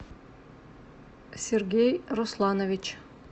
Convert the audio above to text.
сергей русланович